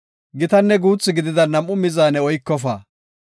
Gitanne guuthi gidida nam7u mizaane oykofa.